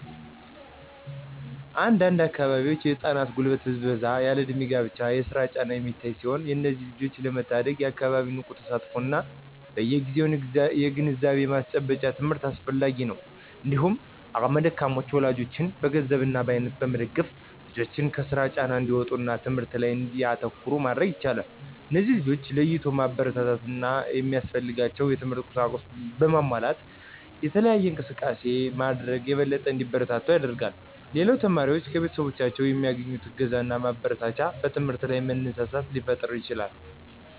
አንድ አንድ አካባቢዎች የህፃናት የጉልበት ብዝበዛ እና ያለእድሜ የስራ ጫና የሚታይ ሲሆን እነዚህን ልጆች ለመታደግ የአካባቢው ንቁ ተሳትፎ እና በየግዜው የግንዛቤ ማስጨበጫ ትምህርት አስፈላጊ ነው። እንዲሁም አቅመ ደካማ ወላጆችን በገንዘብ እና በአይነት በመደገፍ ልጆችን ከስራ ጫና እንዲወጡ እና ትምህርታቸው ላይ እንዲያተኩሩ ማድረግ ይቻላል። እነዚህን ልጆች ለይቶ ማበረታታት እና ሚያስፈልጋቸውን የትምህርት ቁሳቁስ በማሟላት የተለየ እንክብካቤ ማድረግ የበለጠ እንዲበረቱ ያደርጋል። ሌላው ተማሪዎች ከቤተሰቦቻቸው የሚያገኙት እገዛና ማበረታቻ በትምህርታቸው ላይ መነሳሳትን ሊፈጥርላቸው ይችላል።